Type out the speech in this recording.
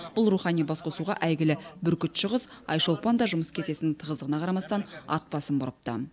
бұл рухани басқосуға әйгілі бүркітші қыз айшолпан да жұмыс кестесінің тығыздығына қарамастан ат басын бұрыпты